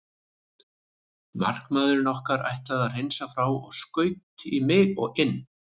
Markamaðurinn okkar ætlaði að hreinsa frá og skaut í mig og inn.